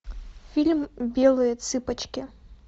фильм белые цыпочки